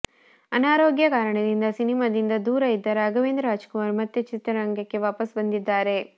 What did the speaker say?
ಅನಾರೋಗ್ಯ ಕಾರಣದಿಂದ ಸಿನಿಮಾದಿಂದ ದೂರ ಇದ್ದ ರಾಘವೇಂದ್ರ ರಾಜ್ ಕುಮಾರ್ ಮತ್ತೆ ಚಿತ್ರರಂಗಕ್ಕೆ ವಾಪಸ್ ಬಂದಿದ್ದಾರೆ